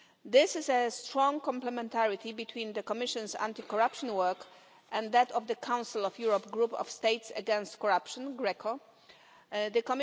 There is a strong complementarity between the Commission's anti corruption work and that of the Council of Europe Group of States Against Corruption The